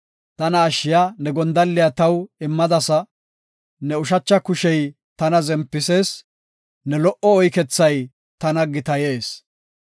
Tana ashshiya ne gondalliya taw immadasa; ne ushacha kushey tana zempisees; ne lo77o oykethay tana gitayees.